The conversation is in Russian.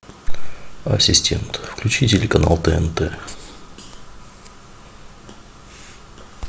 ассистент включи телеканал тнт